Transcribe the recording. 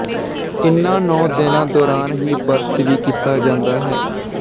ਇਨ੍ਹਾਂ ਨੌਂ ਦਿਨਾਂ ਦੌਰਾਨ ਹੀ ਵਰਤ ਵੀ ਕੀਤਾ ਜਾਂਦਾ ਹੈ